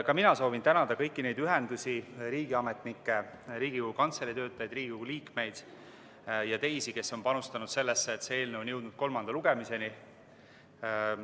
Ka mina soovin tänada kõiki neid ühendusi, riigiametnikke, Riigikogu Kantselei töötajaid, Riigikogu liikmeid ja teisi, kes on panustanud sellesse, et see eelnõu on jõudnud kolmanda lugemiseni.